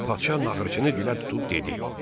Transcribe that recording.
Padşah naxırçını dilə tutub dedi: